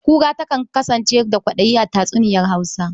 Kura takan kasance da ƙwaɗayi a tatsuniyar Hausa.